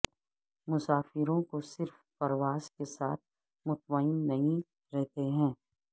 مسافروں کو صرف پرواز کے ساتھ مطمئن نہیں رہتے ہیں